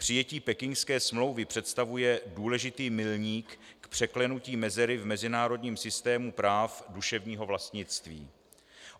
Přijetí Pekingské smlouvy představuje důležitý milník v překlenutí mezery v mezinárodním systému práv duševního vlastnictví.